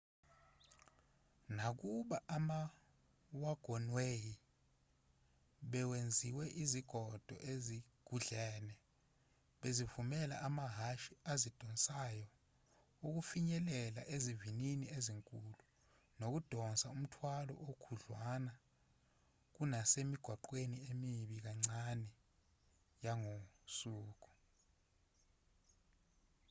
nakuba ama-wagonway bewenziwa izingodo ezugudlene bezivumela amahhashi azidonsayo ukufinyelela izivinini ezinkulu nokudonsa umthwalo okhudlwana kunasemigwaqweni emibi kancane yangosuku